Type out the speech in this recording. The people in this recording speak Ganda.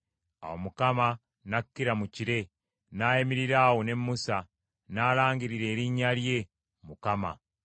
Awo Mukama n’akkira mu kire, n’ayimirira awo ne Musa, n’alangirira erinnya lye, Mukama .